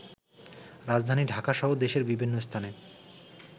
রাজধানী ঢাকাসহ দেশের বিভিন্ন স্থানে